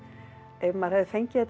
ef maður hefði fengið þetta